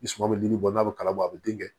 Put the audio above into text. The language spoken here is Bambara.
I suman bɛ jili bɔ n'a bɛ kala bɔ a bɛ den kɛ